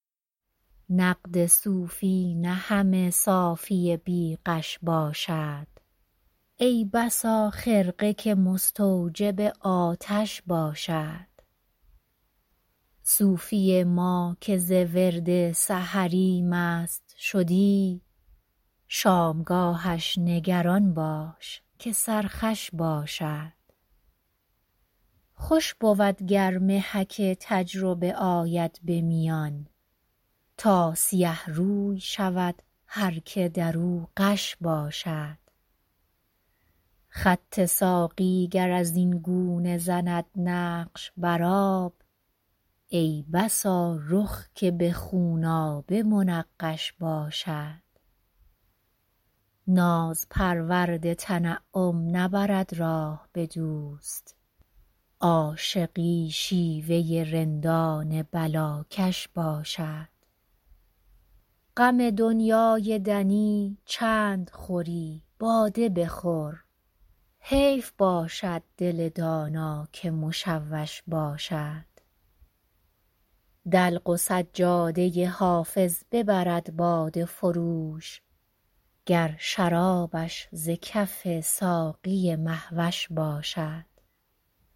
نقد صوفی نه همه صافی بی غش باشد ای بسا خرقه که مستوجب آتش باشد صوفی ما که ز ورد سحری مست شدی شامگاهش نگران باش که سرخوش باشد خوش بود گر محک تجربه آید به میان تا سیه روی شود هر که در او غش باشد خط ساقی گر از این گونه زند نقش بر آب ای بسا رخ که به خونآبه منقش باشد ناز پرورد تنعم نبرد راه به دوست عاشقی شیوه رندان بلاکش باشد غم دنیای دنی چند خوری باده بخور حیف باشد دل دانا که مشوش باشد دلق و سجاده حافظ ببرد باده فروش گر شرابش ز کف ساقی مه وش باشد